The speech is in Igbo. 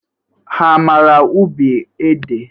Ha amara ubi ede?